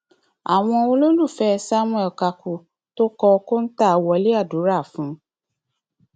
àwọn olólùfẹ samuel kaku tó kọ kóńtà wọlé àdúrà fún un